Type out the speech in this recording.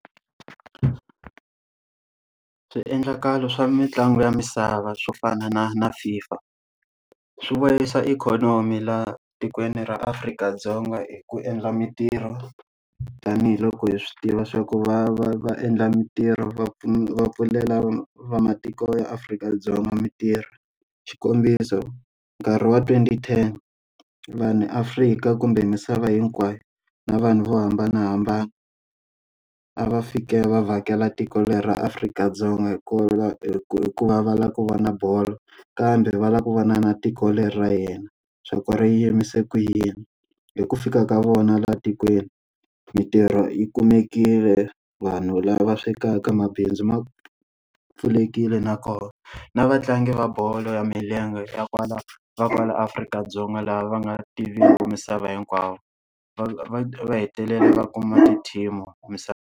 Swiendlakalo swa mitlangu ya misava swo fana na na FIFA, swi vuyerisa ikhonomi laha tikweni ra Afrika-Dzonga hi ku endla mitirho. Tanihi loko hi swi tiva swa ku va va endla mitirho va va pfulela va matiko ya Afrika-Dzonga mitirho. Xikombiso nkarhi wa twenty ten, vanhu Afrika kumbe misava hinkwayo, na vanhu vo hambanahambana a va fike va vhakela tiko leri ra Afrika-Dzonga hi hi ku hikuva va lava ku va na bolo. Kambe va lava ku vona na tiko leri ra hina, swa ku ri yimise ku yini. Hi ku fika ka vona laha tikweni, mitirho yi kumekile, vanhu lava swekaka mabindzu ma pfulekile, nakona na vatlangi va bolo ya milenge ya kwala na kwala Afrika-Dzonga laha va nga tiviki misava hinkwavo va hetelele va kuma ti-team-i .